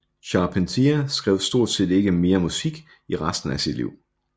Charpentier skrev stort set ikke mere musik i resten af sit liv